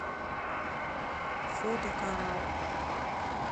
фото коралл